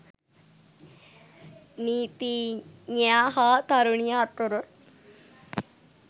නීතිඥයා හා තරුණිය අතර